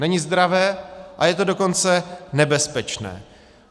Není zdravé, a je to dokonce nebezpečné.